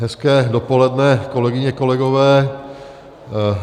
Hezké dopoledne, kolegyně, kolegové.